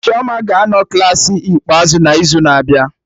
Chioma ga-anọ Klassị ikpeazụ n'izu na-abịa